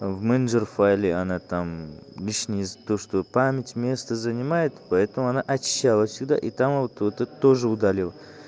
в менеджер файле она там лишнее то что память место занимает поэтому она очищала сюда и там вот вот тоже удалил